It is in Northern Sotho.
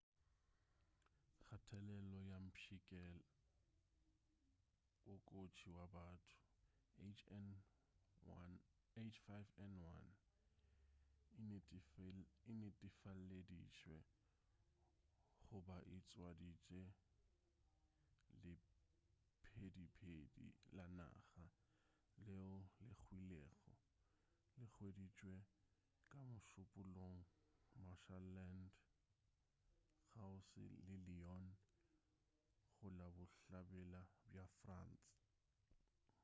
kgathelelo ya mpšhikela wo kotsi go batho h5n1 e netefaleditšwe go ba e tswaditše lephediphedi la naga leo le hwilego le hweditšwe ka mošupulogo marshland kgauswi le lyon go la bohlabela bja france